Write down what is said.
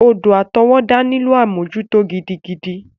Odò àtọwọ́dá nílò àmójútó gidigidi.